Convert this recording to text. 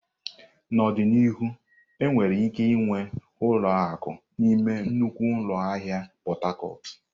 N'ọdịnihu, enwere ike ịnwe ụlọ akụ n'ime nnukwu ụlọ ahịa Pot Tarcot.